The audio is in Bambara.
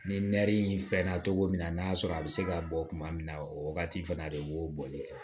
Ni in fɛn na cogo min na n'a sɔrɔ a bɛ se ka bɔ tuma min na o wagati fana de b'o bɔli kɛ